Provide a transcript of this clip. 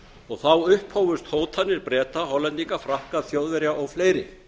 og þá upphófust hótanir breta hollendinga frakka þjóðverja og fleiri